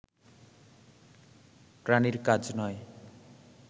প্রাণীর কাজ নয়